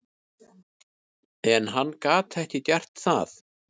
En hann gat ekki gert það.